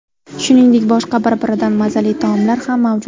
Shuningdek, boshqa bir-biridan mazali taomlar ham mavjud.